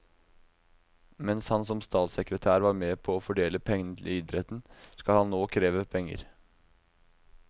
Mens han som statssekretær var med på å fordele pengene til idretten, skal han nå kreve penger.